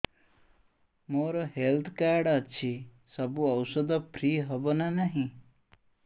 ମୋର health card ଅଛି ସବୁ ଔଷଧ ଫ୍ରି ହବ ନା ନାହିଁ